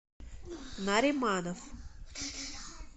нариманов